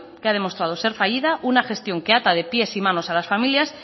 que ha demostrado ser fallida una gestión que ata de pies y manos a las familias